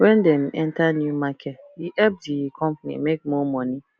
when dem enter new market e help di company make more money